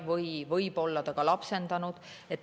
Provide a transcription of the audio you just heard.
Või vanavanemad võivad olla ka lapse lapsendanud.